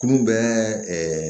K'u bɛ